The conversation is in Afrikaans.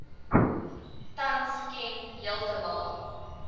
tans ken heeltemal